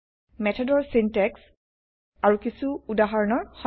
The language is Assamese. মেথডৰ চিন্তেক্স আৰু কিছু উদাহৰণৰ সৈতে